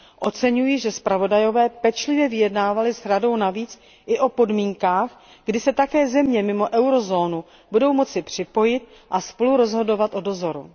Oceňuji, že zpravodajové pečlivě vyjednávali s Radou navíc i o podmínkách, kdy se také země mimo eurozónu budou moci připojit a spolurozhodovat o dozoru.